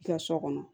I ka so kɔnɔ